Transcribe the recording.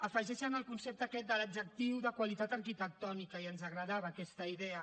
afegeixen el concepte aquest de l’adjectiu de qualitat arquitectònica i ens agradava aquesta idea